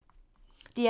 DR P2